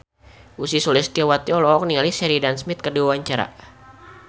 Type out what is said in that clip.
Ussy Sulistyawati olohok ningali Sheridan Smith keur diwawancara